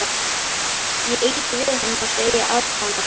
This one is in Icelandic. Ég ýti við honum og segi aðdáunarfull.